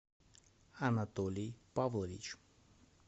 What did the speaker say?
анатолий павлович